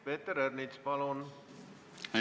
Peeter Ernits, palun!